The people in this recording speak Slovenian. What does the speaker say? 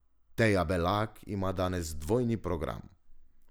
Teja Belak ima danes dvojni program.